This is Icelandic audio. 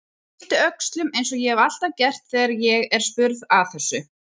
Ég yppti öxlum eins og ég hef alltaf gert þegar ég er spurð að þessu.